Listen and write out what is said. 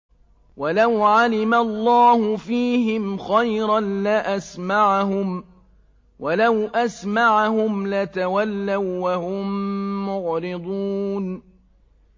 وَلَوْ عَلِمَ اللَّهُ فِيهِمْ خَيْرًا لَّأَسْمَعَهُمْ ۖ وَلَوْ أَسْمَعَهُمْ لَتَوَلَّوا وَّهُم مُّعْرِضُونَ